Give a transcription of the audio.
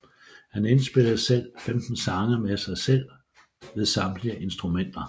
Han indspillede selv 15 sange med sig selv ved samtlige instrumenter